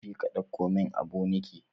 Je ka ɗauko min aboniki.